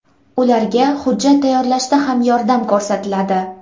Ularga hujjat tayyorlashda ham yordam ko‘rsatiladi.